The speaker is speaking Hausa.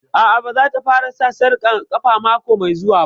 A'a, ba za ta fara sa sarƙar ƙafa mako mai zuwa